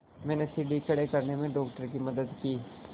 मैंने सीढ़ी खड़े करने में डॉक्टर की मदद की